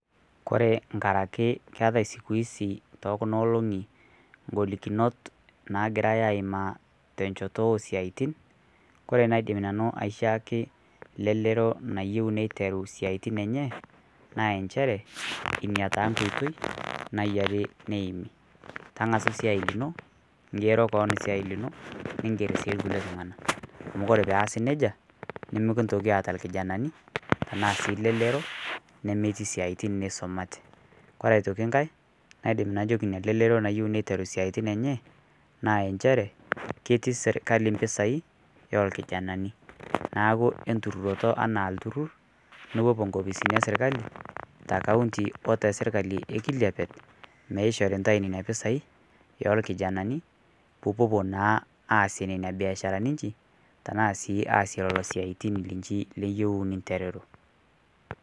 Kore ng'arakee keatai sikuizi tokunaa olong'i ng'olikonot nagirai aimaa tenshotoo osiatin kore naidim nanuu aishaaki lelero nayeu neiteruu siatin enyee naa ensheree inia taa nkoitei nayarii neimii. Tangasuu siai linoo ning'er sii lkulie tung'anaa amu kore peasii nejaa nimikintookii aata lkijananii tanaa sii leleroo nemetii siatin neisometee kore otoki ng'hai naidim najokii inia leleroo nayeu neiteruu siatin enyee naa enshere keti sirkalii mpisai olkijananii naaku inturorotoo anaa lturur nipopuo nkopisini esirkali te kaunti oo tesirkalii ekilipet meishorii ntai nenia pisai yolkijananii puupopuo naa aasie nenia biasharani inshii tanaa sii aasie iloo siatin linshii liyeu ninteruruu.